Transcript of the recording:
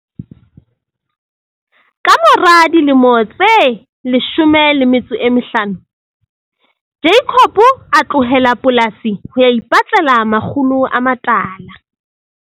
Ka mora dilemo tse 15 Jacob a tlohela polasi ho ya ipatlela makgulo a matala.